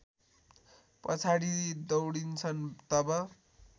पछाडि दौडिन्छन् तब